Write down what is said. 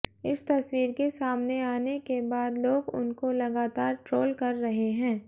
इस तस्वीर के सामने आने के बाद लोग उनको लगातार ट्रोल कर रहे हैं